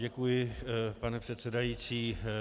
Děkuji, pane předsedající.